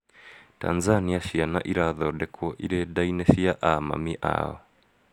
Tanzania ciana irathondekwo irĩ nda-inĩ cia amami ao